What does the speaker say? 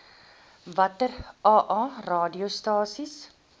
watter aa radiostasies